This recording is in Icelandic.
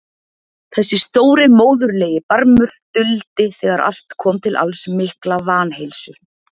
Þessi stóri móðurlegi barmur duldi þegar allt kom til alls mikla vanheilsu.